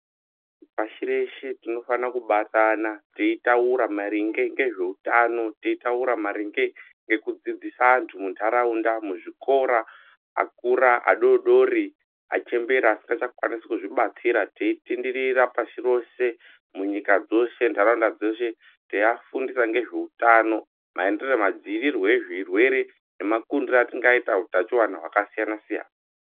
Pashi reshe tinofana kubatana maringe teyitaura ngezveutano teyi Taura maringe ngekudzidzisa andu mundaraunda muzvikora akura adoodori achembera asingachakwanisi kuzvibatsira teyi tenderera pashi roshe munyika dzoshe ndaraunda dzoshe teyiwafundisa ngezveutano madzivirirwe ezvirwere nemafundiro atingaita utano wakasiyana siyana.